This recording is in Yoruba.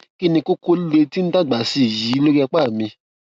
kí ni kókó líle tí ń dàgbà sí i yìí lórí apá mi